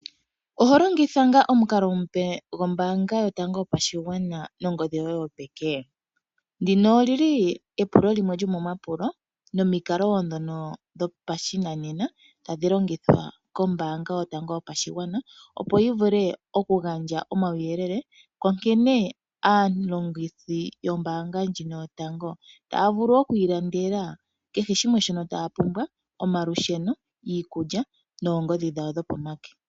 Oholongitha ngaa omukalo omupe gombaanga yotango yopashigwana nongodhi yoye yopeke? Ndino olili epulo limwe lyomomapulo nomikalo ndhono dhopashinanena tadhi longithwa kombaanga yotango yopashigwana opo yivule okugandja omauyelele, onkene aalongithi yombaanga ndjino yotango taya vulu oku ilandela kehe shimwe shono taya pumbwa omalusheno, iikulya noongodhi dhawo dho peke.